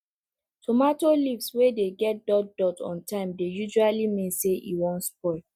tomato leave wey dey get dot dot on time dey usually mean say e wan spoil